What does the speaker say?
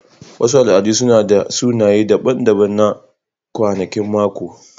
Wasu al'adu suna da sunaye daban-daban na kwanakin mako.